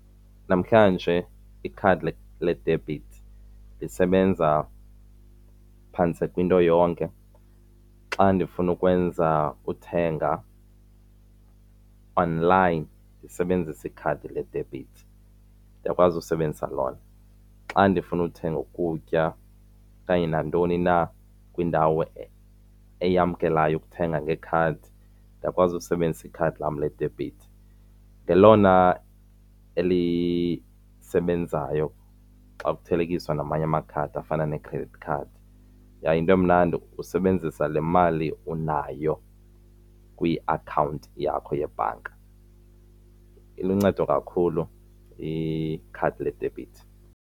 Namhlanje ikhadi ledebhithi lisebenza phantse kwinto yonke. Xa ndifuna ukwenza uthenga online ndisebenzise ikhadi ledebhithi ndiyakwazi usebenzisa lona. Xa ndifuna ukuthenga ukutya okanye nantoni na kwiindawo eyamkelayo ukuthenga ngekhadi ndiyakwazi ukusebenzisa ikhadi lam ledebhithi. Ngelona elisebenzayo xa kuthelekiswa namanye amakhadi afana ne-credit card. Yaye yinto emnandi usebenzisa le mali unayo kwiakhawunti yakho yebhanka. Iluncedo kakhulu ikhadi ledebhithi.